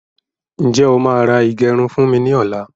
Ǹjẹ́ o máà ra ìgẹrun fún mi ní ọ̀la?